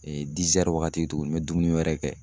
waagati tugunni n bɛ dumuni wɛrɛ kɛ.